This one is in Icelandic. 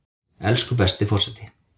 Elsku besti forseti!